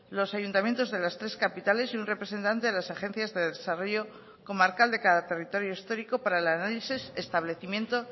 los ayuntamientos de las tres capitales y un representante de las agencias de desarrollo comarcal de cada territorio histórico para el análisis establecimiento